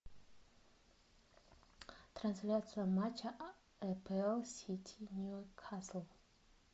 трансляция матча апл сити ньюкасл